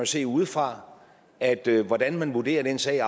se udefra at hvordan man vurderer den sag